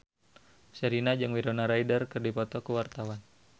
Sherina jeung Winona Ryder keur dipoto ku wartawan